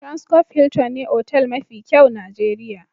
Transcof Hiltin ne otal mafi kyau Nijeriya.